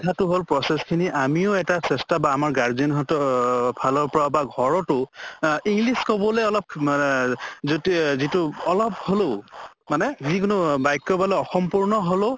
কথাতো হʼব process খিনি আমিও এটা চেষ্টা বা আমাৰ guardian হ্তো ফালৰে পৰা বা ঘৰতো আহ english কʼবলৈ অলপ মানে যিটো অলপ হলেও মানে যি কোনো অহ বাক্য় বা অসম্পূৰ্ণ হলেও